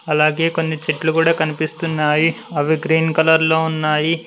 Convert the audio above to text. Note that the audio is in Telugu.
అలాగే కొన్ని చెట్లు కూడా కనిపిస్తున్నాయి అవి గ్రీన్ కలర్ లో ఉన్నాయి.